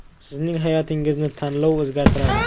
Sizning hayotingizni tanlov o‘zgartiradi.